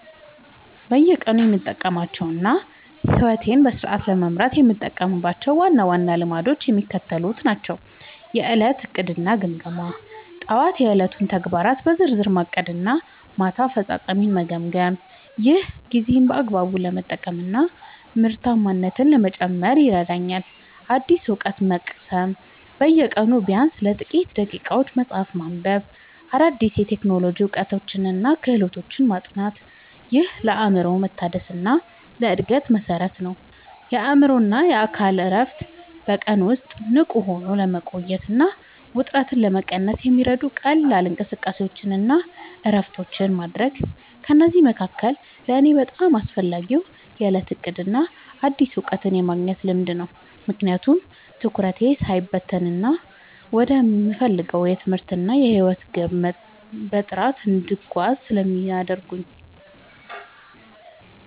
በየቀኑ የምጠብቃቸውና ሕይወቴን በስርዓት ለመምራት የምጠቀምባቸው ዋና ዋና ልማዶች የሚከተሉት ናቸው፦ የዕለት ዕቅድና ግምገማ፦ ጠዋት የዕለቱን ተግባራት በዝርዝር ማቀድና ማታ አፈጻጸሜን መገምገም። ይህ ጊዜን በአግባቡ ለመጠቀምና ምርታማነትን ለመጨመር ይረዳኛል። አዲስ እውቀት መቅሰም፦ በየቀኑ ቢያንስ ለጥቂት ደቂቃዎች መጽሐፍ ማንበብ፣ አዳዲስ የቴክኖሎጂ እውቀቶችንና ክህሎቶችን ማጥናት። ይህ ለአእምሮ መታደስና ለዕድገት መሠረት ነው። የአእምሮና አካል እረፍት፦ በቀን ውስጥ ንቁ ሆኖ ለመቆየትና ውጥረትን ለመቀነስ የሚረዱ ቀላል እንቅስቃሴዎችንና እረፍቶችን ማድረግ። ከእነዚህ መካከል ለእኔ በጣም አስፈላጊው የዕለት ዕቅድና አዲስ እውቀት የማግኘት ልማድ ነው፤ ምክንያቱም ትኩረቴ ሳይበታተን ወደምፈልገው የትምህርትና የሕይወት ግብ በጥራት እንድጓዝ ስለሚያደርጉኝ።